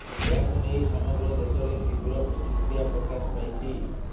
ଏହାକୁ ନେଇ ସମଗ୍ର ଦେଶରେ ତୀବ୍ର ପ୍ରତିକ୍ରିୟା ପ୍ରକାଶ ପାଇଛି